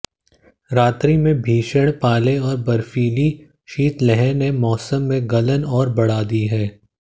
रात्रि में भीषण पाले और बर्फीली शीतलहर ने मौसम में गलन और बढ़ा दी है